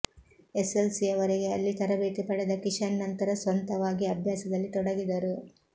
ಎಸ್ಸೆಸ್ಸೆಲ್ಸಿಯವರೆಗೆ ಅಲ್ಲಿ ತರಬೇತಿ ಪಡೆದ ಕಿಶನ್ ನಂತರ ಸ್ವಂತವಾಗಿ ಅಭ್ಯಾಸದಲ್ಲಿ ತೊಡಗಿದರು